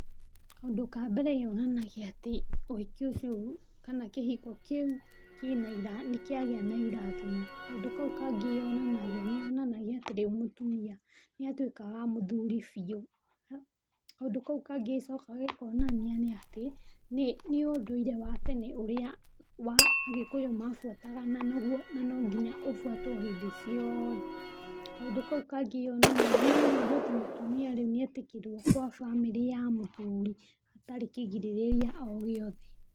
Kaũndũ ka mbere yonanagia atĩ, ũhiki ũcio kana kĩhiko kĩu nĩ kĩagĩa na irathimo. Kaũndũ kau kangĩ yonanagia, nĩ yonanagia ati ndĩmũtumia nĩ atuĩka wa mũthuri biũ. Kaũndũ kau kangĩ ĩcokagia kuonania nĩ atĩ, nĩ ũndũire wa tene ũrĩa wa Agĩkũyũ mabuataga na no nginya ũbuatwo hĩndĩ ciothe. Kaũndũ kau kangĩ yonanagia atĩ mũtumia rĩũ nĩ etikĩrwo kwa bamĩrĩ ya mũthuri hatarĩ kĩrĩgĩrĩrĩa o gĩothe.